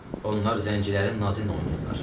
Onlar zəncilərin nazıyla oynayırlar.